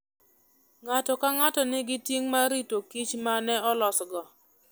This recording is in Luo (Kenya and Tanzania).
Ng'ato ka ng'ato nigi ting' mar rito kich ma ne olosgo.